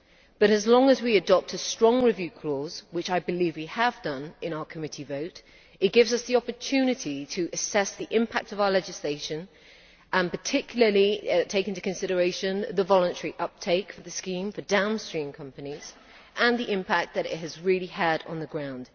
But as long as we adopt a strong review clause, which I believe we have done in our committee vote, it gives us the opportunity to assess the impact of our legislation and particularly to take into consideration the voluntary uptake for the scheme for downstream companies and the impact that it has really had on the ground.